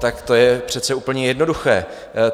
Tak to je přece úplně jednoduché.